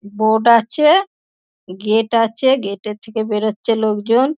Boat আছে-এ gate আছে গেট -এর থেকে বেরোচ্ছে লোকজন।